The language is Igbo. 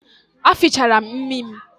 A fichara m imi m